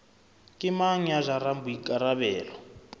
ke mang ya jarang boikarabelo